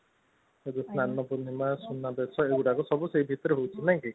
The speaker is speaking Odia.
ସ୍ନାନ ପୁର୍ଣିମା ସୁନା ବେସ ତା ଭିତରେ ସବୁ ହୋଉଛି ନାଇଁ